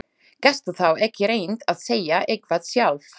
Gastu þá ekki reynt að segja eitthvað sjálf?